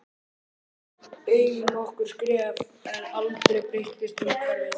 Ég steig nokkur skref en aldrei breyttist umhverfið.